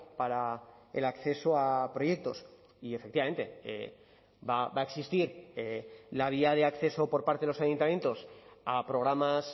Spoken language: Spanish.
para el acceso a proyectos y efectivamente va a existir la vía de acceso por parte de los ayuntamientos a programas